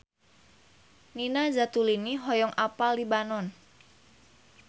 Nina Zatulini hoyong apal Libanon